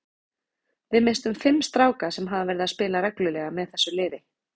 Við misstum fimm stráka sem hafa verið að spila reglulega með þessu liði.